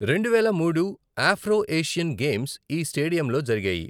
రెండువేల మూడు Afro Asian games ఈ స్టేడియంలో జరిగాయి.